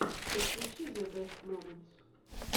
подключи зэ бэст моментс